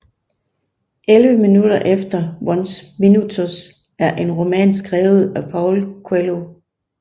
Elleve minutter eller Onze Minutos er en roman skrevet af Paulo Coelho